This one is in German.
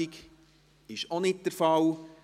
– Dies ist auch nicht der Fall.